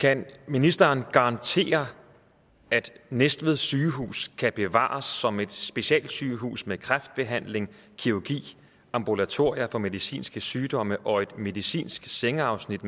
kan ministeren garantere at næstved sygehus kan bevares som et specialsygehus med kræftbehandling kirurgi ambulatorier for medicinske sygdomme og et medicinsk sengeafsnit